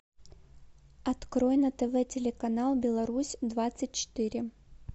открой на тв телеканал беларусь двадцать четыре